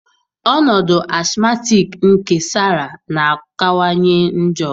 Ọnọdụ asmatiki nke Sara na-akawanye njọ